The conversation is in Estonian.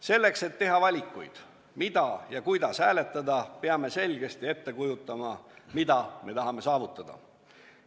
Selleks, et teha valikuid, mida ja kuidas hääletada, peame selgesti ette kujutama, mida me tahame saavutada.